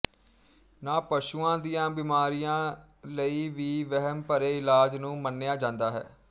ਨ ਪਸ਼ੂਆਂ ਦੀਆਂ ਬੀਮਾਰੀਆਂ ਲਈ ਵੀ ਵਹਿਮ ਭਰੇ ਇਲਾਜ ਨੂੰ ਮੰਨਿਆ ਜਾਂਦਾ ਹੈ